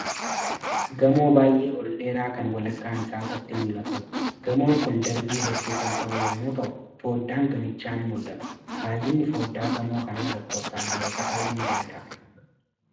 Gamoo baay'ee ol dheeraa kan walakkaan isaa qofti mul'atudha. Gamoon Kun darbii hedduu kan qabu yommuu ta'u fooddaan gamichaa ni mul'ata. Baay'inni fooddaa gamoo kanaa lakkoofsaan meeqa ta'uu ni danda'a?